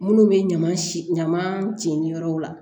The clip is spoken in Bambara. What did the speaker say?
Minnu bɛ ɲama ɲama jenin yɔrɔw la